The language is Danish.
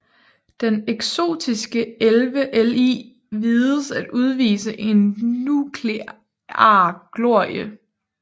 Den eksotiske 11Li vides at udvise en nuklear glorie